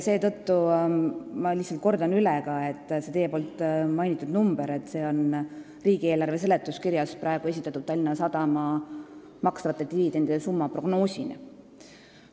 Ma kordan üle, et see teie mainitud summa on riigieelarve seletuskirjas praegu esitatud Tallinna Sadama makstavate dividendide summa prognoosina.